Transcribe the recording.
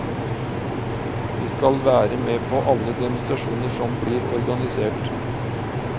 Vi skal være med på alle demonstrasjoner som blir organisert.